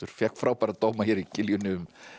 fékk frábæra dóma hér í Kiljunni um